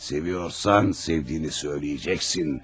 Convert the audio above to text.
Sevirsənsə sevdiyini deyəcəksən.